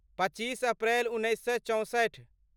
पच्चीस अप्रैल उन्नैस सए चौंसठि